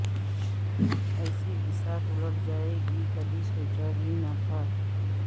ایسی بساط الٹ جائے گی کبھی سوچا بھی نہیں تھا